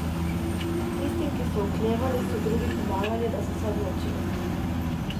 Tistim, ki so oklevali, so drugi pomagali, da so se odločili.